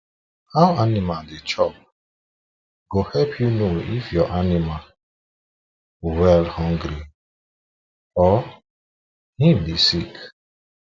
how animals how animals they chop go help u know if ur animals wellhungry or him the sick